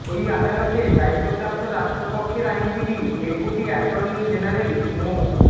ওই আদালতে দায়িত্বপ্রাপ্ত রাষ্ট্রপক্ষের আইনজীবী ডেপুটি অ্যাটর্নি জেনারেল মো